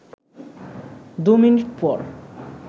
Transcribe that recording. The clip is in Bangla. দু মিনিট পর